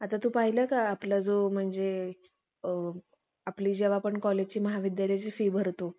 असतात. त्यांना स्वच्छतेची फार आवड आहे. त्यांनी आमच्या शाळेत औषधी वनस्पती, सुंदर फुलझाडे लावली आहेत. ते एक उत्तम कलाकार आहेत. कोणती कविता कविता ते